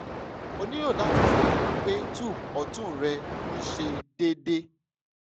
o nilo lati ṣalaye pe tube ọtun rẹ n ṣiṣẹ deede